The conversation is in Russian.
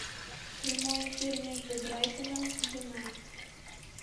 прямой эфир между брайтоном и юнайтед